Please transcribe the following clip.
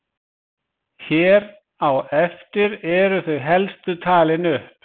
Hér á eftir eru þau helstu talin upp.